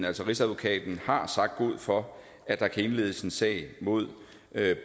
altså rigsadvokaten har sagt god for at der kan indledes en sag mod